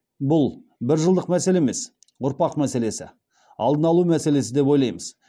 бұл бір жылдық мәселе емес ұрпақ мәселесі алдын алу мәселесі деп ойлаймыз